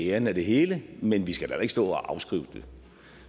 æren af det hele men vi skal da heller ikke stå og afskrive det